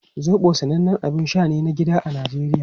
Zobo sanannen abin sha ne na gida a Najeriya.